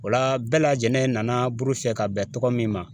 O la bɛɛ lajɛlen nana buru fiyɛ ka bɛn tɔgɔ min ma